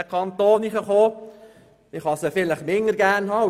Man kann die BKW aber auch weniger gern haben.